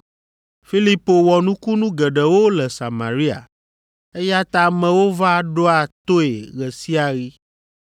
Filipo wɔ nukunu geɖewo le Samaria, eya ta amewo va ɖoa toe ɣe sia ɣi.